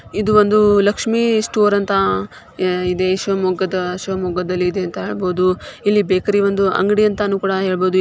ಇದು ಒಂದು ಲಕ್ಷಿಮ್ ಸ್ಟೋರ್ ಶಿವಮೊಗ್ಗಾದ್ ಇದೆ ಅಂತ ಇದೆ ಬೇಕರಿ ಅಂತ ಅಂಗಡಿ ಅಂತ ಹೇಳ್ಬಹುದು.